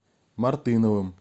мартыновым